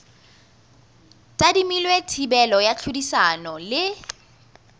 tadimilwe thibelo ya tlhodisano le